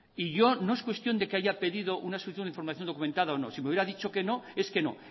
no es cuestión de que haya pedido una solicitud de información documentada o no si me hubiera dicho que no es que no